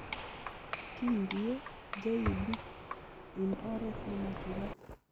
Kindie JEB in oret nemachulat.